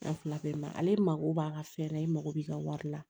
fila bɛɛ ma ale mako b'a ka fɛn na i mako b'i ka wari la